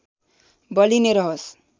बलि नै रहोस्